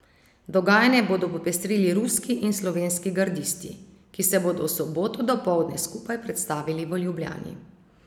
Dogajanje bodo popestrili ruski in slovenski gardisti, ki se bodo v soboto dopoldne skupaj predstavili v Ljubljani.